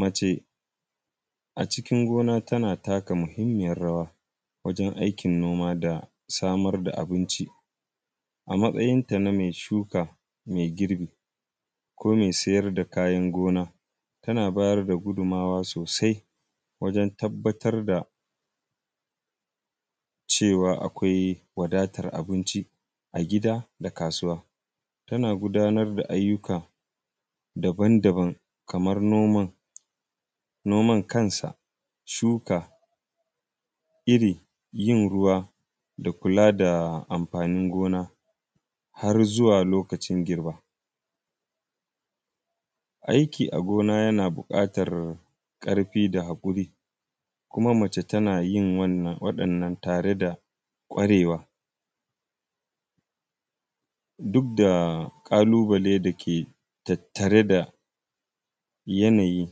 Mace a cikin gona tana taka muhimmiyar rawa, wajen aikin noma da samar da abinci. A matsayinta na me shuka, me girbi ko me siyar da kayan gona, tana bayar da gudunmawa sosai wajen tabbatar da cewa akwai wadatar abinci a gida da kasuwa. Tana gudanar da ayyuka dabandaban kamar noman; noman kansa shuka iri, yin ruwa da kula da amfanin gona har zuwa lokacin girba. Aiki a gona, yana buƙatar ƙarfi da haƙuri, kuma mace tana yin wannan, waɗannan tare da ƙwarewa. Duk da ƙalubale da ke tattare da yanayi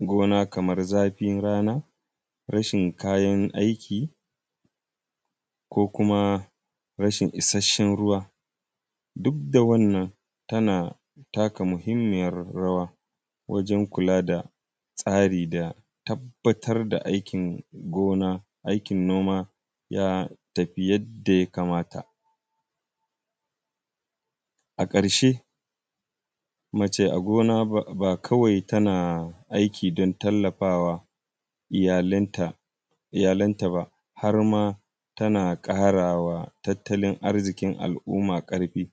gona kamar zafin rana, rashin kayan aiki ko kuma rashin isasshen ruwa, duk da wannan, tana taka muhimmiyar rawa wajen kula da tsari da tabbatar da aikin gona, aikin noma ya tafi yadda ya kamata. A ƙarshe, mace a gona ba; ba kawai tana aiki don tallafa wa iyalanta; iyalanta ba, har ma tana ƙara wa tattalin arziƙin al’uma ƙarfi.